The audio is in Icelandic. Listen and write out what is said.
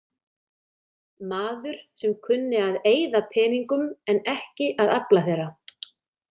Maður sem kunni að eyða peningum en ekki að afla þeirra.